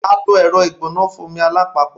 A lo ẹrọ igbona fun omi alapapo